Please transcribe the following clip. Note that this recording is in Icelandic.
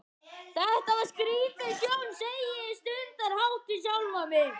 Þetta var skrítin sjón, segi ég stundarhátt við sjálfa mig.